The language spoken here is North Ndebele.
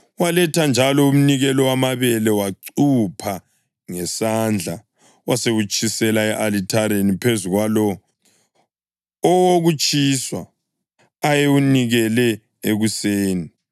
Waletha njalo umnikelo wamabele, wacupha ngesandla, wasewutshisela e-alithareni phezu kwalowo owokutshiswa ayewunikele ekuseni.